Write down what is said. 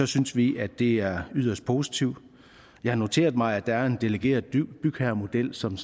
synes vi at det er yderst positivt jeg har noteret mig at der er en delegeret bygherremodel som